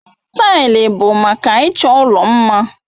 Taịlị bụ maka ịchọ ụlọ mma.